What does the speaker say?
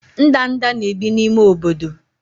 ndanda na-ebi n'ime obodo.